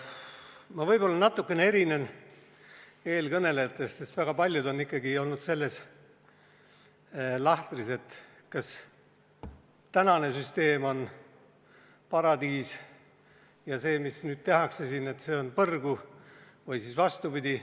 Ma võib-olla natukene erinen eelkõnelejatest, sest väga paljud on ikkagi olnud selles lahtris, et kas tänane süsteem on paradiis ja see, mis nüüd tehakse siin, on põrgu, või siis vastupidi.